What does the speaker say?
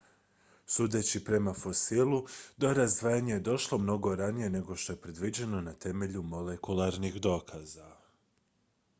sudeći prema fosilu do razdvajanja je došlo mnogo ranije nego što je predviđeno na temelju molekularnih dokaza